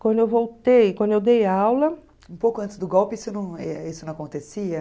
Quando eu voltei, quando eu dei aula... Um pouco antes do golpe isso não isso não acontecia?